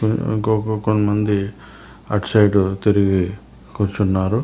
ఇంకా కొంతమంది అటు సైడు తిరిగి కూర్చున్నారు.